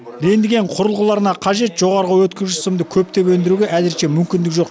рентген құрылғыларына қажет жоғарғы өткізгіш сымды көптеп өндіруге әзірше мүмкіндік жоқ